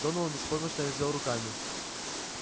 донован беспомощно развёл руками